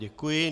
Děkuji.